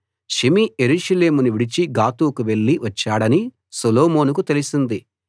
Shimei యెరూషలేమును విడిచి గాతుకు వెళ్ళి వచ్చాడని సొలొమోనుకు తెలిసింది